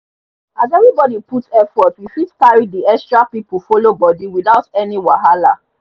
as everybody put effort we fit carry the extra people follow body without any wahala